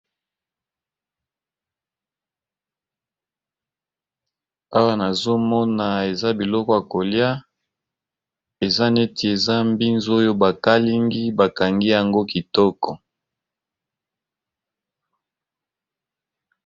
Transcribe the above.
Awa nazomona eza biloko ya kolya, eza neti eza mbinzo oyo bakalingi bakangi yango kitoko.